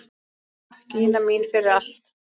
Takk, Ína mín, fyrir allt.